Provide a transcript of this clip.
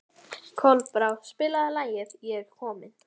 Kolbrá, spilaðu lagið „Ég er kominn“.